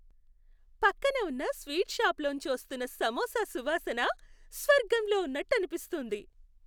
పక్కన ఉన్న స్వీట్ షాపులోంచి వస్తున్న సమోసా సువాసన..స్వర్గంలో ఉన్నట్టు అనిపిస్తోంది!